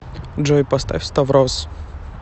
джой поставь ставроз